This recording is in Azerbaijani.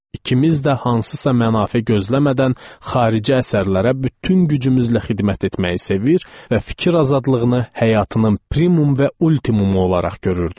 İkimiz də hansısa mənafe gözləmədən xarici əsərlərə bütün gücümüzlə xidmət etməyi sevir və fikir azadlığını həyatının primum və ultimumu olaraq görürdük.